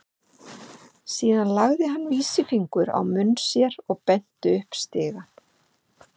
Síðan lagði hann vísifingur á munn sér og benti upp stigann.